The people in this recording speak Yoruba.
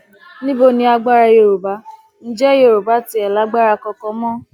níbo ni agbára yorùbá ǹjẹ yorùbá tiẹ lágbára kankan mọ